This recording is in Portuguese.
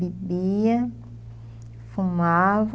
Bebia, fumava...